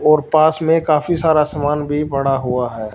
और पास में काफी सारा सामान भी बड़ा हुआ है।